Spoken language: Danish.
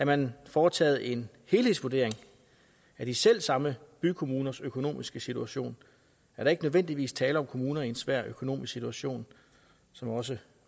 man foretaget en helhedsvurdering af de selv samme bykommuners økonomiske situation er der ikke nødvendigvis tale om kommuner i en svær økonomisk situation som også